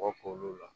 Kɔkɔ k'olu la